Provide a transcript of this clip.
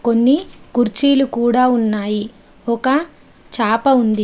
కొన్ని కుర్చీలు కూడా ఉన్నాయి. ఒక చాప ఉంది.